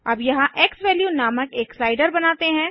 अब यहाँ एक्सवैल्यू नामक एक स्लाइडर बनाते हैं